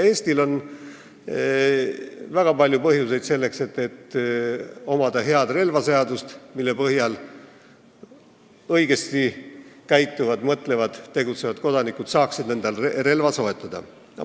Eestil on väga palju põhjuseid, selleks et meil peaks olema hea relvaseadus, mille põhjal õigesti käituvad, mõtlevad ja tegutsevad kodanikud saaksid endale relva soetada.